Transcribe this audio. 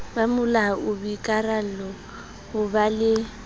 bomolao boikarallo ho ba le